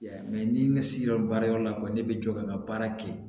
Yan mɛ ni ne siran baara yɔrɔ la ko ne bɛ jɔ ka n ka baara kɛ